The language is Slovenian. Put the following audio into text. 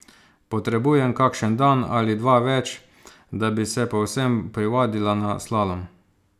Potrebujem kakšen dan ali dva več, da bi se povsem privadila na slalom.